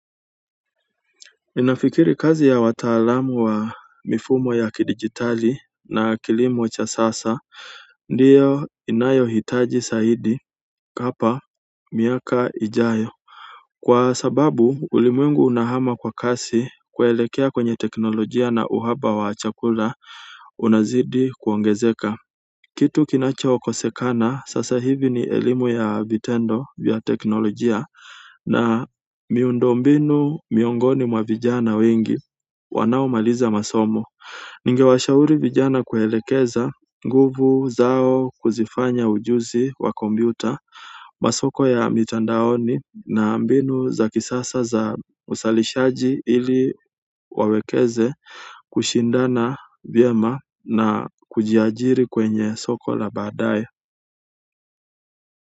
Ninafikiri kazi ya wataalamu wa mifumo ya kidigitali na kilimo cha sasa ndiyo inayohitaji zaidi kapa miaka ijayo kwa sababu ulimwengu unahama kwa kasi kuelekea kwenye teknolojia na uhaba wa chakula. Unazidi kuongezeka kitu kinacho kosekana sasa hivi ni elimu ya vitendo vya teknolojia na miundombinu miongoni mwavijana wengi wanao maliza masomo. Ningewashauri vijana kuelekeza nguvu zao kuzifanya ujuzi wa kompyuta masoko ya mitandaoni na mbinu za kisasa za uzalishaji ili wawekeze kushindana vyema na kujiajiri kwenye soko la badae.